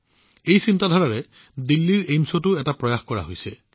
এই চিন্তাৰে দিল্লীৰ এইমছতো এক প্ৰচেষ্টা চলোৱা হৈছে